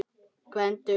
Gvendur og